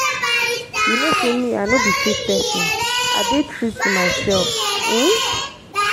you know say me i no be fake person i dey true to myself um.